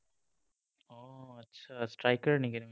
আচ্ছা, striker নেকি তুমি?